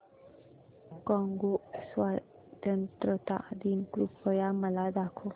Congo स्वतंत्रता दिन कृपया मला दाखवा